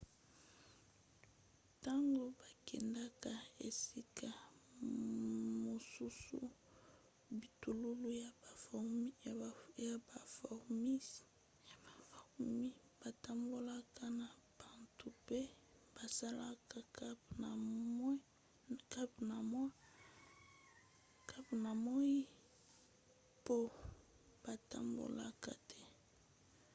ntango bakendaka esika mosusu bitululu ya bafourmis batambolaka na butu mpe basalaka camp na moi mpo batambola te